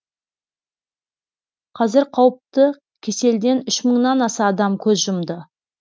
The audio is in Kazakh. қазір қауіпті кеселден үш мыңнан аса адам көз жұмды